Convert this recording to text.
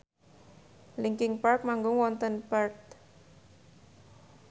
linkin park manggung wonten Perth